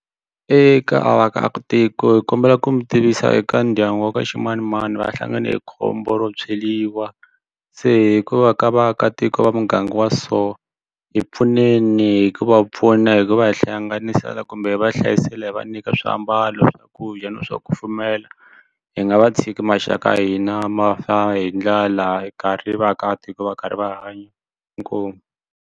Eka vaakatiko hi kombela ku mi tivisa eka ndyangu wa ka ximanimani va hlangane hi khombo ro tshweliwa se hi ku va ka vaakatiko va muganga wa so hi pfuneni hi ku va pfuna hi ku va hi hlanganisela kumbe va hlayisela hi va nyika swiambalo swakudya na swo kufumela hi nga va tshiki maxaka ya hina ma fa hi ndlala hi karhi hi vaakatiko va karhi va hanya inkomu.